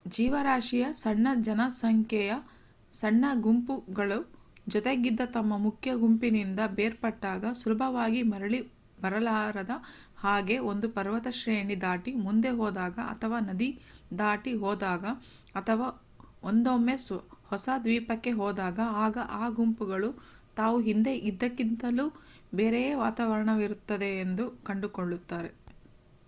ಜೀವರಾಶಿಯ ಸಣ್ಣ ಜನಸಂಖ್ಯೆಯ ಸಣ್ಣ ಗುಂಪುಗಳು ಜೊತೆಗಿದ್ದ ತಮ್ಮ ಮುಖ್ಯ ಗುಂಪಿನಿಂದ ಬೇರ್ಪಟ್ಟಾಗ ಸುಲಭವಾಗಿ ಮರಳಿ ಬರಲಾರದ ಹಾಗೆ ಒಂದು ಪರ್ವತ ಶ್ರೇಣಿ ದಾಟಿ ಮುಂದೆ ಹೋದಾಗ ಅಥವಾ ನದಿ ದಾಟಿ ಹೋದಾಗ ಅಥವಾ ಒಂದೊಮ್ಮೆ ಹೊಸ ದ್ವೀಪಕ್ಕೆ ಹೋದಾಗ ಆಗ ಆ ಗುಂಪುಗಳು ತಾವು ಹಿಂದೆ ಇದ್ದದ್ದಕ್ಕಿಂತಲೂ ಬೇರೆಯೇ ವಾತಾವರಣವಿರುತ್ತದೆ ಎಂದು ಕಂಡುಕೊಳ್ಳುತ್ತಾರೆ